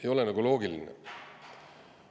Ei ole nagu loogiline.